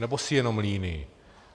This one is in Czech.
Nebo jsi jenom líný?